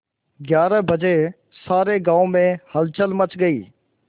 ग्यारह बजे सारे गाँव में हलचल मच गई